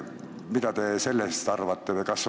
Mida te sellest arvate?